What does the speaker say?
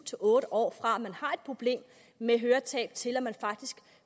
otte år fra at man har et problem med et høretab til at man faktisk